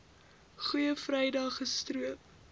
goeie vrydag gestroop